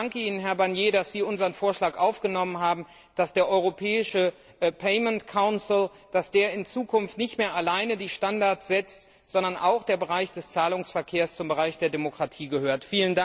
Ich danke Ihnen, Herr Barnier, dass Sie unseren Vorschlag aufgenommen haben, dass der europäische payment council in Zukunft nicht mehr allein die Standards setzt, sondern auch der Bereich des Zahlungsverkehrs zum Bereich der Demokratie gehört.